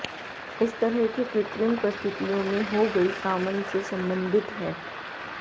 इस तरह के कृत्रिम परिस्थितियों में हो गई सामन से संबंधित है